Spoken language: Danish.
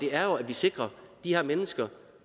er jo at vi sikrer at de her mennesker